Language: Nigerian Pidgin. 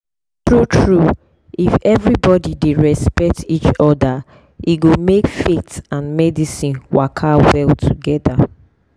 true true if everybody dey respect each other e go make faith and medicine waka well togethe